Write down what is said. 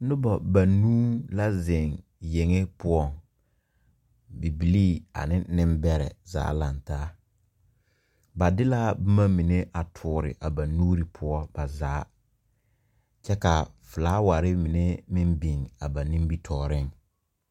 Nuba banuu la zeng yenge pou bibilee ane nimbere zaa langtaa ba de la buma mene a tuuri a ba nuuri puo ba zaa kye ka flowari mene meng bing a ba nimitoɔring.